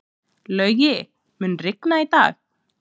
Laugi, mun rigna í dag?